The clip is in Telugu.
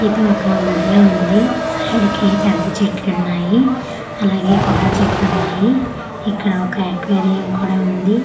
ఇది ఒక గుడ్లా వుంది సైడ్ కి పెద్ద చెట్లున్నాయి అలాగే కొబ్బరి చెట్లున్నాయి ఇక్కడ ఒక అక్వేరియం కూడా వుంది సయ్కి--